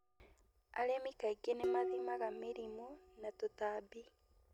Arĩmi kaingĩ nĩmathimaga mĩrimũ na tũtambi.